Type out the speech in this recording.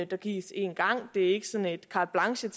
der gives en gang det er ikke sådan et carte blanche til